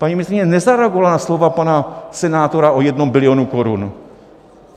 Paní ministryně nezareagovala na slova pana senátora o jednom bilionu korun.